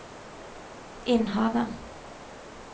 Innhavet